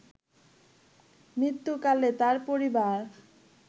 মৃত্যুকালে তার পরিবার